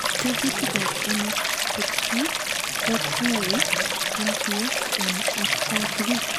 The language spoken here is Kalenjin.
Tekutikab MSH2 kotou MTS en atkai tugul.